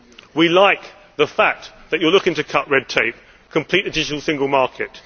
We like the fact that you are looking to cut red tape and to complete the digital single market